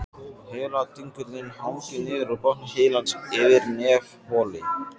Heiladingullinn hangir niður úr botni heilans yfir nefholi.